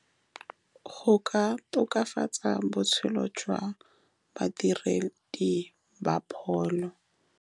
Ka go ka tokafatsa botshelo jwa badiredi ba pholo.